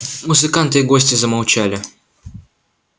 музыканты и гости замолчали